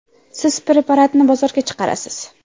Siz preparatni bozorga chiqarasiz.